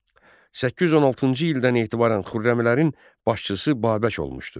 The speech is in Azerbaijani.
Səkkiz yüz on altıncı ildən etibarən Xürrəmlərin başçısı Babək olmuşdu.